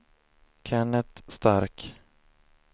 Kennet Stark